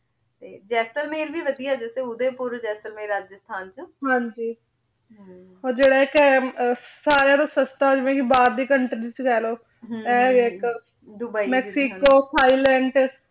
ਤੇ ਜੇਸੇਲ੍ਮੀਰ ਵੀ ਵਾਦਿਯ ਜਸ ਤਰਹ ਓਢੇ ਪੁਰ ਜਾਸਾਲ੍ਮੀਰ ਰਾਝਾਸ੍ਥਨ ਚ ਹਾਂਜੀ ਊ ਜੇਰਾ ਏਇਕ ਹੈ ਵੀ ਬਾਹਰ ਦੀ ਕੋਉਂਟ੍ਰੀ ਚ ਲੇ ਲੋ ਆਯ ਏਇਕ ਦੁਬਈ ਮੈਕ੍ਸਿਕੋ ਥਾਈਲੈੰਡ